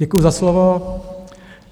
Děkuji za slovo.